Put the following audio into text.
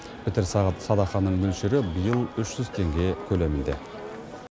пітір садақаның мөлшері биыл үш жүз теңге көлемінде